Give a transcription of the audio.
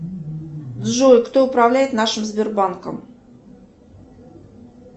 джой кто управляет нашим сбербанком